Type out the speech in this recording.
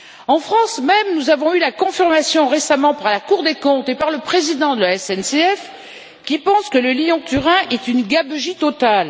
En France même, nous en avons eu la confirmation récemment par la Cour des comptes et par le président de la SNCF, qui pensent que le Lyon Turin est une gabegie totale.